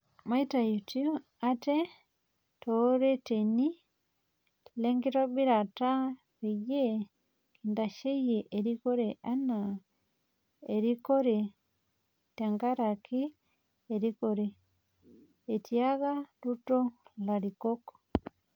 "Maitaitu aate tooreteni lenkitobirata peyie kintasheyie erikore naa erikore tenkaraki erikore," Etiaka Ruto larikok.